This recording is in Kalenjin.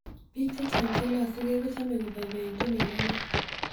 Bik chechang chelasugee kochome koboiboitun en ano